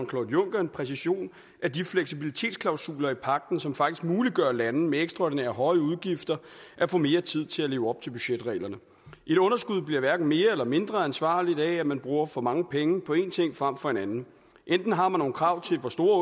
claude juncker en præcisering af de fleksibilitetsklausuler i pagten som faktisk muliggør at lande med ekstraordinært høje udgifter kan få mere tid til at leve op til budgetreglerne et underskud bliver hverken mere eller mindre ansvarligt af at man bruger for mange penge på en ting frem for en anden enten har man nogle krav til hvor store